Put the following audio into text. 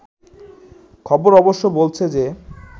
খবর অবশ্য বলছে যে